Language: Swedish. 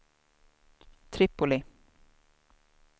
Tripoli